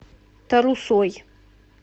тарусой